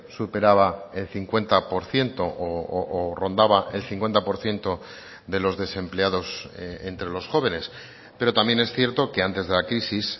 superaba el cincuenta por ciento o rondaba el cincuenta por ciento de los desempleados entre los jóvenes pero también es cierto que antes de la crisis